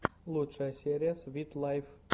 лучшая серия свит лайф